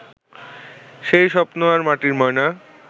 সেই স্বপ্ন আর মাটির ময়না